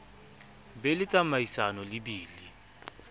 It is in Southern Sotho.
be le tsamaisano le bili